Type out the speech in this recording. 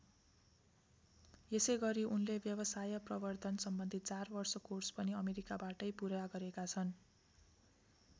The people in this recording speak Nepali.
यसैगरी उनले व्यवसाय प्रवर्द्धन सम्बन्धी चार वर्ष कोर्स पनि अमेरिकाबाटै पूरा गरेका छन्।